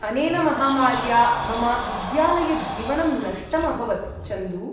अनेन महामार्या मम विद्यालयजीवनं नष्टम् अभवत्, चन्दू।